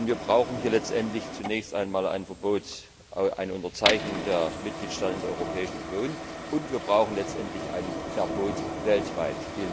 Wir brauchen hier letztendlich zunächst einmal ein Verbot, eine Unterzeichnung durch die Mitgliedstaaten der Europäischen Union, und wir brauchen letztendlich ein Verbot weltweit.